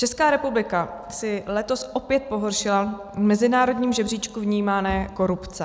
Česká republika si letos opět pohoršila v mezinárodním žebříčku vnímané korupce.